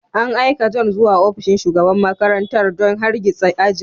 An aika John zuwa ofishin shugaban makarantar don hargitsa ajin.